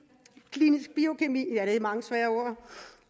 klinisk biokemi